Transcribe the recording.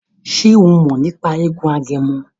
Ṣe o mọ̀ nípa eégún Agẹmọ?